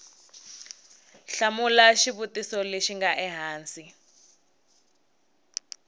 hlamula xivutiso lexi nga ehansi